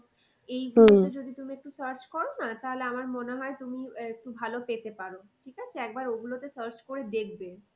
এই search কর না তাহলে আমার মনে হয় তুমি একটু ভালো পেতে পারো। ঠিক আছে একবার ও গুলোতে search করে দেখবে।